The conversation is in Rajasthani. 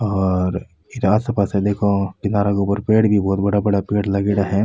और आस पास देखो किनारे के ऊपर भी बहोत बड़ा बड़ा पेड़ लागेड़ा है।